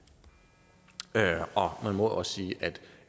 man må jo også sige at